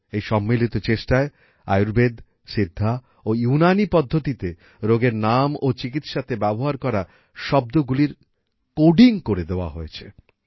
এই সম্মিলিত চেষ্টায় আয়ুর্বেদ সিদ্ধা ও ইউনানী পদ্ধতিতে রোগের নাম ও চিকিৎসাতে ব্যবহার করা শব্দগুলির কোডিং করে দেওয়া হয়েছে